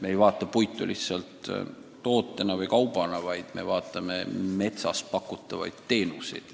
Me ei pea silmas ainult puitu kui toodet või kaupa, vaid ka metsas pakutavaid teenuseid.